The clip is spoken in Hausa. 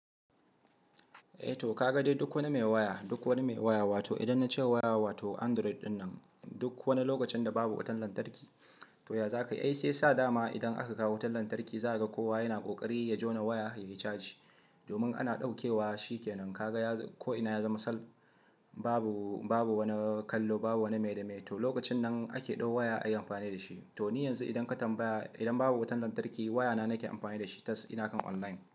Eh to ka ga dai duk wani mai waya, duk wani mai waya wato idan na ce waya wato Android ɗinnan duk wani lokacin da babu wutan lantarki to ya za ka yi? Ai sai sa dama idan aka kawo wutar lantarki za ka ga kowa yana ƙoƙari ya jona waya yayi caji domin ana ɗauke wa shi ke nan. Ka ga ko ina ya zama sal, babu, babu wani kallo, babu wani miye da miye. To lokacin nan ake ɗau waya ayi amfani da shi. To ni yanzu idan ka tambaya idan babu wutan lantarki wayana nake amfani da shi tas ina kan online.